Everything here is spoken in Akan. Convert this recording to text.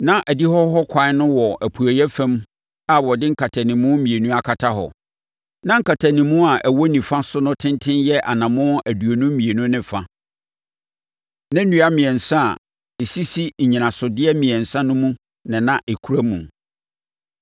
Na adihɔ hɔ ɛkwan no wɔ apueeɛ fam a wɔde nkatanimu mmienu akata hɔ. Na nkatanimu a ɛwɔ nifa so no tenten yɛ anammɔn aduonu mmienu ne fa. Na nnua mmiɛnsa a ɛsisi nnyinasodeɛ mmiɛnsa mu na na ɛkura mu.